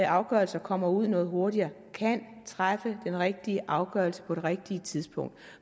afgørelser kommer ud noget hurtigere kan træffe den rigtige afgørelse på det rigtige tidspunkt